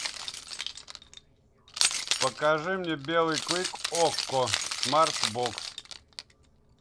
покажи мне белый клык окко смарт бокс